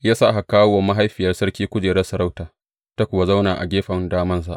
Ya sa aka kawo wa mahaifiyar sarki kujerar sarauta, ta kuwa zauna a gefen damansa.